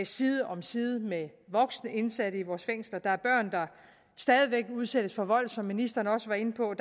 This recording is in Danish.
side om side med voksne indsatte i vores fængsler der er stadig væk udsættes for vold som ministeren også var inde på